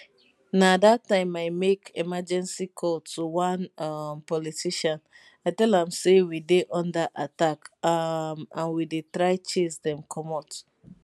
na dat time i make emergency call to one um politician i tell am say we dey under attack um and we dey try chase dem comot